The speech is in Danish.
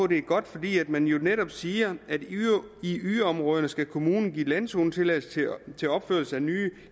det er godt fordi man jo netop siger at i yderområderne skal kommunen give landzonetilladelse til opførelse af nye